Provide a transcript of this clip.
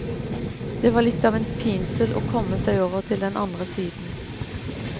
Det var litt av en pinsel og komme seg over til den andre siden.